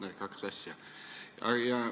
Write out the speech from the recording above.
Need kaks asja.